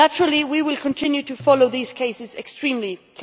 Naturally we will continue to follow these cases extremely closely.